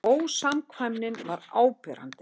Ósamkvæmnin var áberandi.